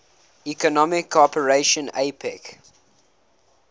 economic cooperation apec